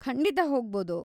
ಖಂಡಿತ ಹೋಗ್ಬೋದು.